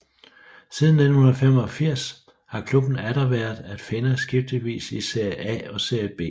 Siden 1985 har klubben atter været at finde skiftevis i Serie A og Serie B